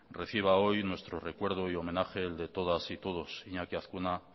reciba hoy nuestro recuerdo y homenaje el de todas y todos iñaki azkuna